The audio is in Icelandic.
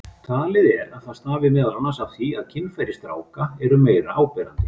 Talið er að það stafi meðal annars af því að kynfæri stráka eru meira áberandi.